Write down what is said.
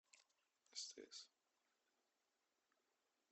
стс